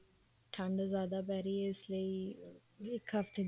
ਠੰਡ ਜਿਆਦਾ ਪੈ ਰਹੀ ਆ ਇਸ ਲਈ ਇੱਕ ਹਫਤੇ ਦੀਆਂ